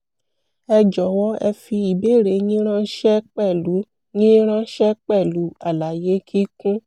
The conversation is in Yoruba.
ẹ jọ̀wọ́ ẹ fi ìbéèrè yín ránṣẹ́ pẹ̀lú yín ránṣẹ́ pẹ̀lú àlàyé kíkún